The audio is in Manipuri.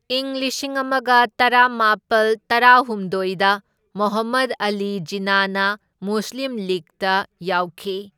ꯏꯪ ꯂꯤꯁꯤꯡ ꯑꯃꯒ ꯇꯔꯥꯃꯥꯄꯜ ꯇꯔꯥꯍꯨꯝꯗꯣꯢꯗ ꯃꯣꯍꯝꯃꯗ ꯑꯂꯤ ꯖꯤꯟꯅꯥꯅ ꯃꯨꯁꯂꯤꯝ ꯂꯤꯛꯒꯇ ꯌꯥꯎꯈꯤ꯫